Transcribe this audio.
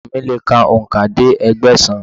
Ọmọ mi lè ka òǹkà dé Ẹgbẹ̀sán.